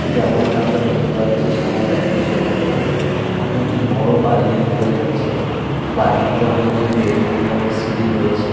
যেমনটা আমরা দেখতে পাচ্ছি সময়টা এখন সন্ধ্যাবেলা। এখানে একটি বড় বাড়ি দেখতে পাওয়া যাচ্ছে। বাড়িটিতে অনেকগুলি ব্যালকনি এবং সিঁড়ি রয়েছে।